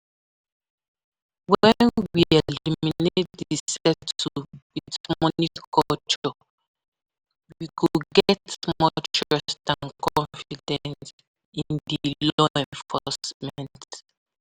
when we eliminate di settle with money culture, we go get more trust and confidence in di law enforcement.